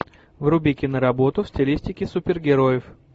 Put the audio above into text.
вруби киноработу в стилистике супергероев